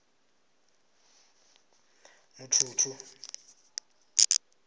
mutshutshu